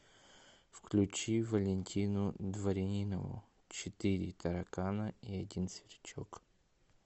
включи валентину дворянинову четыре таракана и один сверчок